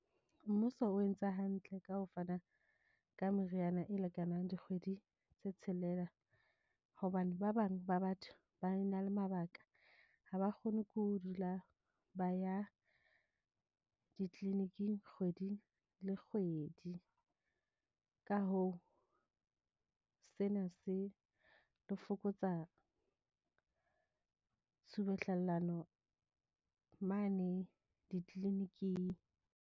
Mmuso o entse hantle ka ho fana ka meriana e lekanang dikgwedi tse tshelela, hobane ba bang ba batho ba na le mabaka. Ha ba kgone ho dula ba ya di-clinic-ing kgwedi le kgwedi. Ka hoo, sena se tlo fokotsa tshubuhlellano mane di-clinic-ing.